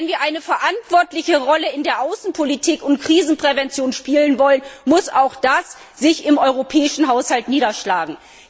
Und wenn wir eine verantwortliche Rolle in der Außenpolitik und Krisenprävention spielen wollen, muss auch das sich im europäischen Haushalt niederschlagen.